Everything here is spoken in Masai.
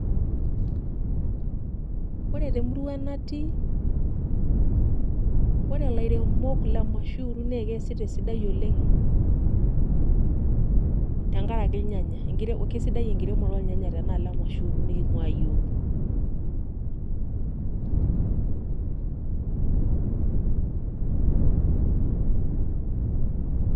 Ore temurua natii ore ilairemok le Mashuuru naa keesita esidai oleng' tenkaraki irnyanya kesidai enkiremore tenaalo e Mashuuru niking'uaa iyiook.